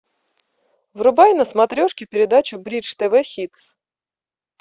врубай на смотрешке передачу бридж тв хитс